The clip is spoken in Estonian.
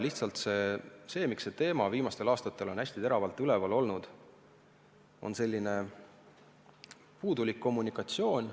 Lihtsalt põhjus, miks see teema viimastel aastatel hästi teravalt esil on olnud, on puudulik kommunikatsioon.